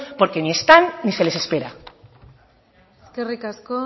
porque ni están ni se les espera eskerrik asko